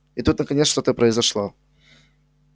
и тут наконец что-то произошло